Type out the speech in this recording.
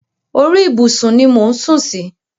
Orí ìbùsùn ni mò ń sù sí.